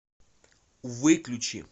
выключи